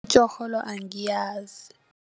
Itjorholo angiyazi.